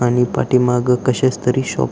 आणि पाठीमाग कशाच तरी शॉप --